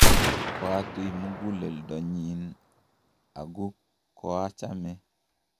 koatui muguleldonyin , aku koachame